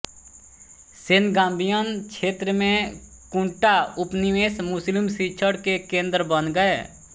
Senegambian क्षेत्र में कुंटा उपनिवेश मुस्लिम शिक्षण के केंद्र बन गए